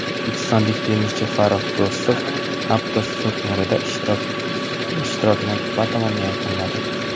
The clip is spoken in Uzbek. O‘zbekistonlik tennischi Farrux Do‘stov Aptos turniridagi ishtirokini batamom yakunladi.